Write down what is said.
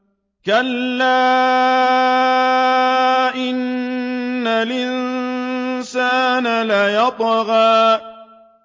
كَلَّا إِنَّ الْإِنسَانَ لَيَطْغَىٰ